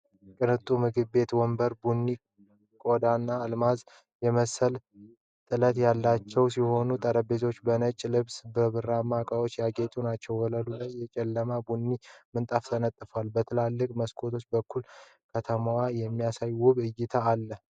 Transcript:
ቅንጡ የምግብ ቤት ወንበሮች ቡኒ ቆዳና አልማዝ የመሰለ ጥለት ያላቸው ሲሆን፣ ጠረጴዛዎቹ በነጭ ልብስና በብር ዕቃዎች ያጌጡ ናቸው። ወለሉ ላይ የጨለማ ቡኒ ምንጣፍ ተነጥፏል፤ በትላልቅ መስኮቶች በኩል ከተማዋን የሚያሳይ ውብ እይታ አለ።